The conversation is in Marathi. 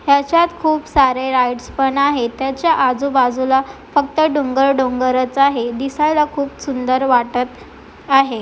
याच्यात खूप सारे राइडस पण आहेत त्याच्या आजू बाजूला फक्त डोंगर डोंगर आहेत दिसायला खूप सुंदर वाटत आहे.